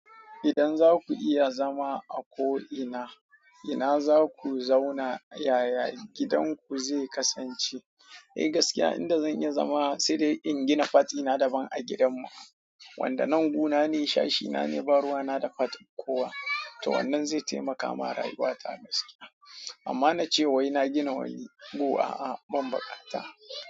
Idan za ku iya zama a ko ina, ina za ku zauna yaya gidanku zai kasance? Eh gaskiya inda zan iya zama sai dai in gina part dina daban a gidanmu. Wanda nan guu nane sashe na neh ba ruwana da part din kowa. Toh wannan zai taimaka ma rayuwata gaskiya amma na ce wai na gina wani guu a banbukata.